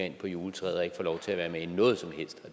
ind på juletræet og ikke får lov til at være med i noget som helst og